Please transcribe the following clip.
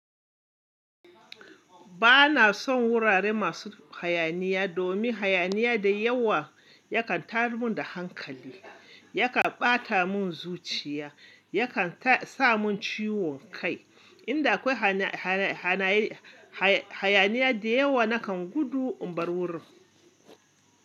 Bana son wurare masu hayaniya domin hayaniya da yawa yakan tayar min da hankali, yakan ɓata mun zuciya, yakan sa mun ciwon kai. Inda akwai hayaniya da yawa nakan gudu in bar wurin.